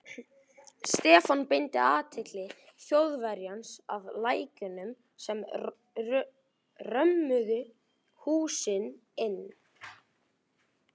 Stefán beindi athygli Þjóðverjans að lækjunum sem römmuðu húsin inn.